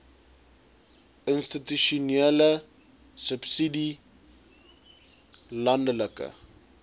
institusionele subsidie landelike